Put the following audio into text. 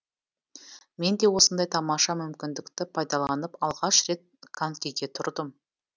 мен де осындай тамаша мүмкіндікті пайдаланып алғаш рет конькиге тұрдым